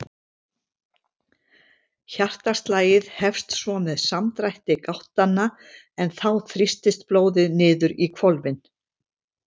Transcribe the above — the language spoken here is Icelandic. Hjartaslagið hefst svo með samdrætti gáttanna en þá þrýstist blóðið niður í hvolfin.